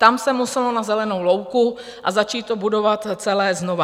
Tam se muselo na zelenou louku a začít to budovat celé znovu.